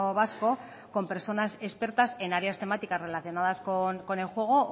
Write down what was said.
vasco con personas expertas en áreas temáticas relacionadas con el juego o